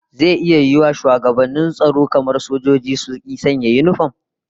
Zai iya yiwuwa shugabannin tsaro kamar sojoji, su ki sanya khaki?